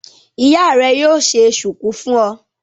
Ìyá rẹ yóò ṣe ṣùkú fún ọ.